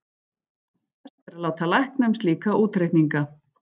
Best er að láta lækna um slíka útreikninga.